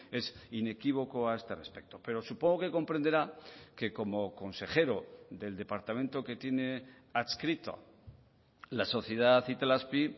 es inequívoco a este respecto pero supongo que comprenderá que como consejero del departamento que tiene adscrito la sociedad itelazpi